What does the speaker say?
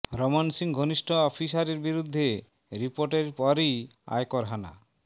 রমন সিং ঘনিষ্ঠ অফিসারের বিরুদ্ধে রিপোর্টের পরেই আয়কর হানা